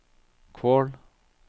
Kvål